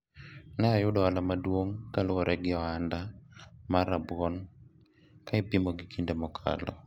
ne ayudo ohala maduong' kaluwore gi ohanda mar rabuon ka ipimo gi kinde mokalo